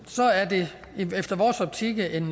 i er det efter vores optik en